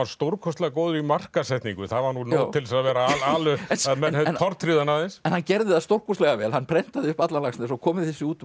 stórkostlega góður í markaðssetningu það var nóg til að menn tortryggðu hann aðeins en hann gerði það stórkostlega vel hann prentaði upp allan Laxness og kom þessu út